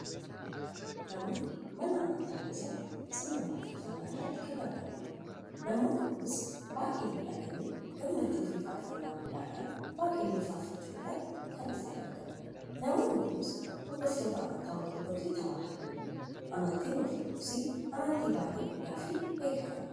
Namoonni, Mana amantaa keessatti sirna waaqeffannaa irratti kan argamaniidha. Namoonni Kunis baay'ee miidhaganii gammachuufi faarfannaa guddaadhan waaqayyoon faarfachuu irratti kan isaan argaman. Namoonni Kunis, hordoftoota amantii Ortodoksi tawaahidooti. Amantiin Ortodoksii amantii baay'ee guddaafi beekamaadha.